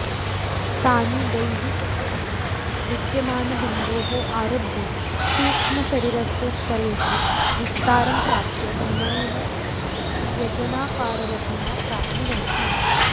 तानि दैहिकशरीरे विद्यमानबिन्दोः आरभ्य सूक्ष्मशरीरस्य स्तरेषु विस्तारं प्राप्य भ्रमणेन व्यजनाकाररचनां प्राप्नुवन्ति